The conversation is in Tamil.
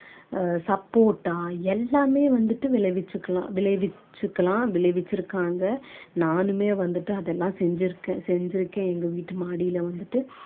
அஹ் சப்போட்டா எல்லாமே வந்துட்டு விளைவிச்சிக்கலாம் விளைவிச்சிக்கலாம் விளைவிச்சுருக்காங்க நானுமே வந்துட்டு அதெல்லாம் செஞ்சிருக்கேன் செஞ்சிருக்கேன் எங்க வீட்டு மாடியில வந்துட்டு